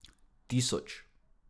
Tisoč.